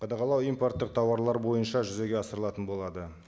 қадағалау импорттық тауарлар бойынша жүзеге асырылатын болады